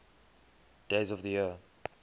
days of the year